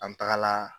An tagara